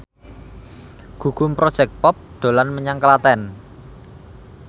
Gugum Project Pop dolan menyang Klaten